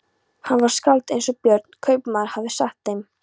Hann var skáld eins og Björn kaupmaður hafði sagt þeim.